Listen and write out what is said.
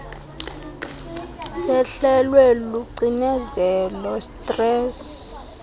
sehlelwe lucinezelo stress